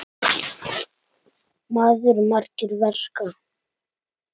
Allir út í garð!